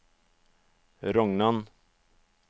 Rognan